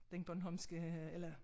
Den bornholmske eller